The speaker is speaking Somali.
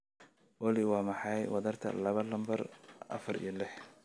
olly waa maxay wadarta laba lambar afar iyo lix